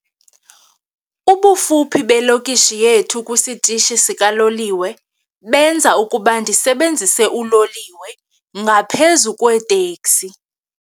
Ubufuphi belokishi yethu esitishini sikaloliwe benza ukuba ndisebenzise uloliwe ngaphezu kweeteksi.